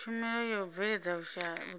tshumelo ya u bveledza vhutsila